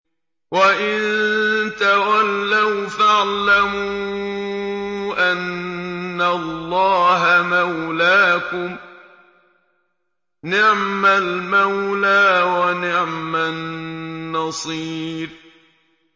وَإِن تَوَلَّوْا فَاعْلَمُوا أَنَّ اللَّهَ مَوْلَاكُمْ ۚ نِعْمَ الْمَوْلَىٰ وَنِعْمَ النَّصِيرُ